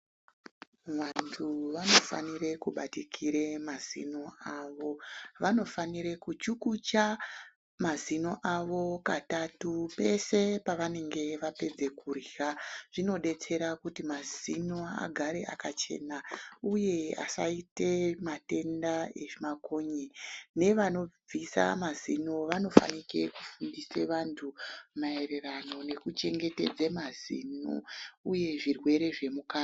Vantu vanofanire kubatikire mazino avo, vanofanire kuchukucha mazino avo katatu pese pavanonga vapedza kurya, zvinodetsera kuti mazino agare akachena uye asayite matenda ezvimakonye nevanobvisa mazino vanofanike kufundise vantu mayererano nekuchengetedze mazino uye zvirwere zvemukanwa.